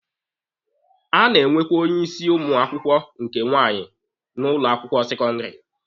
A na-enwekwa onye isi ụmụ akwụkwọ nke nwaanyị n'ụlọ akwụkwọ sekọndịrị.